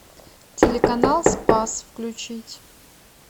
телеканал спас включить